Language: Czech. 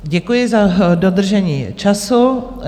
Děkuji za dodržení času.